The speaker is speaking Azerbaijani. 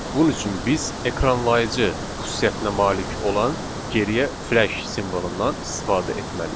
Bunun üçün biz ekranlayıcı xüsusiyyətinə malik olan geriyə f-slash simvolundan istifadə etməliyik.